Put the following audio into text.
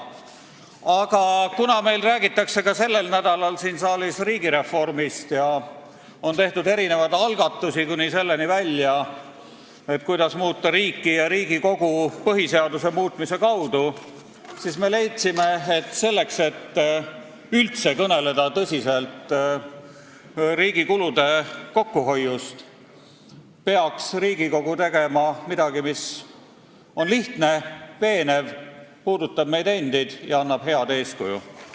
Aga kuna meil räägitakse sellel nädalal siin saalis riigireformist ning on tehtud mitmesuguseid algatusi – kuni selleni välja, kuidas muuta riiki ja Riigikogu põhiseaduse muutmise kaudu –, siis meie leidsime, et kui üldse kõneleda tõsiselt riigi kulude kokkuhoiust, peaks Riigikogu tegema midagi, mis on lihtne, veenev, puudutab meid endid ja annab head eeskuju.